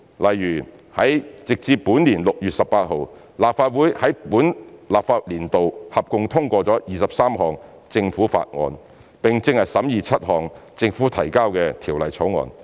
例如，直至本年6月18日，立法會在本立法年度合共通過了23項政府法案，並正在審議7項政府提交的條例草案。